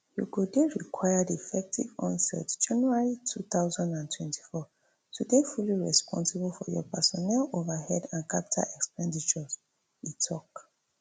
you go dey required effective onest january two thousand and twenty-four to dey fully responsible for your personnel overhead and capital expenditures e tok